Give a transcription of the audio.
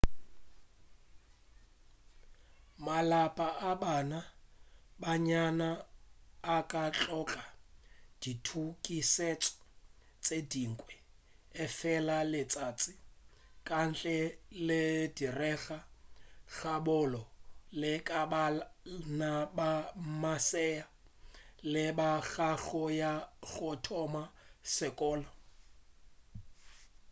malapa a bana ba bannyane a ka hloka ditukišetšo tše dingwe efela letšatši ka ntle le direga ga bonolo le ka bana ba masea le bana ba go ya go thoma sekolo